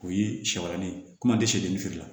O ye sayɔrɔnin ye komi an tɛ sɛden feere la